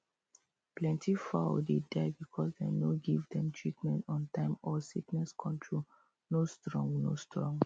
plenty fowl dey die because dem no dey give them treatment on time or sickness control no strong no strong